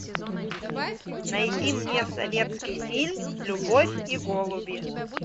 найди мне советский фильм любовь и голуби